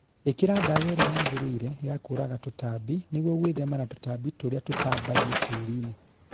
Īkĩra ndawa ĩrĩa yagĩrĩire ya kũraga tũtambi nĩguo gwĩthema na tũtambi tũrĩa tũtambagio tĩriinĩ